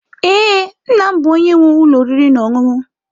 Ee, nna m bụ onye nwe ụlọ oriri na ọṅụṅụ.